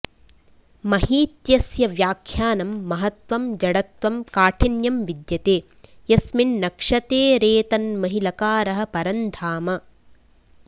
महीत्यस्य व्याख्यानं महत्त्वं जडत्वं काठिन्यं विद्यते यस्मिन्नक्षतेरेतन्महि लकारः परं धाम